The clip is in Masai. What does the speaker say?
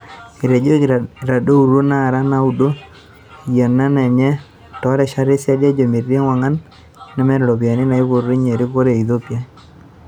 Etejoki eitadoutuo naara naaudo yieuna enye toorishat esiadi ejoo metii ewangan nemeeta iropiyiani naipotunyia erikore e Ethiopia.